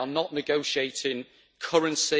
They are not negotiating currency